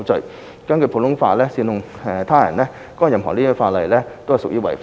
而根據普通法，煽動他人干犯任何實質罪行亦屬犯法。